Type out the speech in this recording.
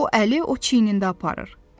Bu əli o çiynində aparır.